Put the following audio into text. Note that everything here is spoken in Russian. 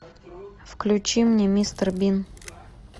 включи мне мистер бин